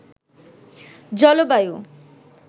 জলবায়ু